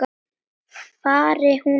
Fari hún vel.